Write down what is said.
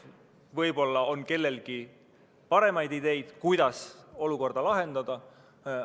Võib-olla on kellelgi paremaid ideid, kuidas olukorda lahendada.